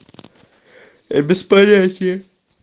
без понятия